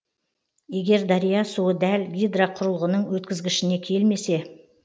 егер дария суы дәл гидроқұрылғының өткізгішіне келмесе